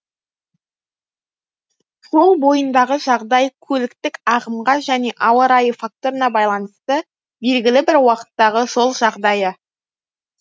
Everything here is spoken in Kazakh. жол бойындағы жағдай көліктік ағымға және ауа райы факторына байланысты белгілі бір уақыттағы жол жағдайы